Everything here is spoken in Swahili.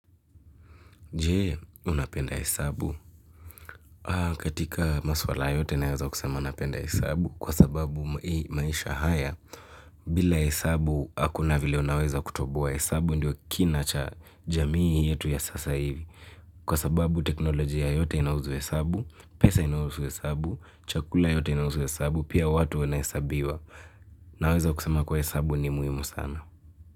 Je, unapenda hesabu? Katika maswala yote naweza kusema napenda hesabu kwa sababu maisha haya. Bila hesabu hakuna vile unaweza kutoboa hesabu ndio kina cha jamii yetu ya sasa hivi. Kwa sababu teknolojia yote inahusu hesabu, pesa inahusu hesabu, chakula yote inahusu hesabu, pia watu wanahesabiwa. Naweza kusema kuwa hesabu ni muhimu sana.